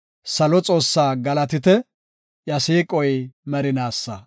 Salo Xoossaa galatite! iya siiqoy merinaasa.